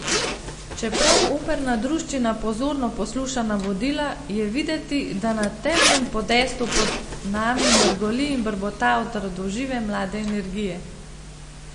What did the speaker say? Čeprav operna druščina pozorno posluša navodila, je videti, da na temnem podestu pod nami mrgoli in brbota od radožive mlade energije.